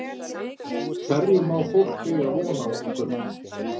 Hverju má fólk eiga von á í kvöld?